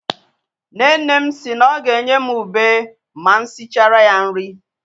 Nne nne m si na ọ ga-enye m ùbè ma m sịchara ya nri.